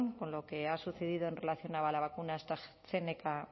con lo que ha sucedido en relación a la vacuna astrazeneca